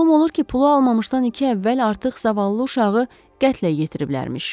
Məlum olur ki, pulu almamışdan iki əvvəl artıq zavallı uşağı qətlə yetiriblərmiş.